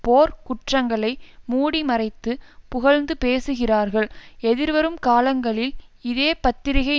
போர்க் குற்றங்களை மூடிமறைத்து புகழ்ந்து பேசுகிறார்கள் எதிர்வரும் காலங்களில் இதே பத்திரிகை